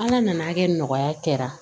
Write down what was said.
Ala nana hakɛ nɔgɔya kɛra